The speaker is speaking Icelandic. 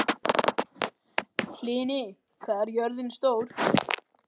Hlini, hvað er jörðin stór?